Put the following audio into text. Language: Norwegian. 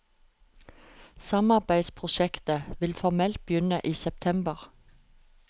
Samarbeidsprosjektet vil formelt begynne i september.